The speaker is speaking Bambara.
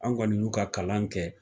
An kɔni y'u ka kalan kɛ.